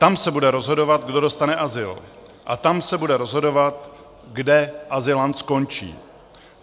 Tam se bude rozhodovat, kdo dostane azyl, a tam se bude rozhodovat, kde azylant skončí.